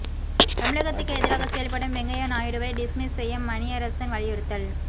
தமிழகத்துக்கு எதிராக செயல்படும் வெங்கையா நாயுடுவை டிஸ்மிஸ் செய்ய மணியரசன் வலியுறுத்தல்